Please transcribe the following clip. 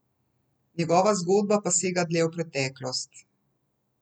Njegova zgodba pa sega dlje v preteklost.